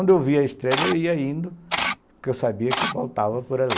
Onde eu via a estrela, eu ia indo, porque eu sabia que voltava por ali.